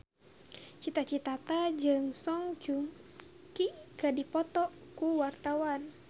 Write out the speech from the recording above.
Cita Citata jeung Song Joong Ki keur dipoto ku wartawan